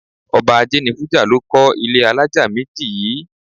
Ọba Ajénifújà ló kọ́ ilé alájà méjì yìí.